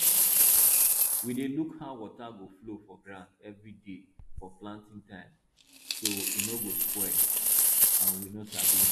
we dey look how water go flow for ground every day for planting time so e no spoil and we no sabi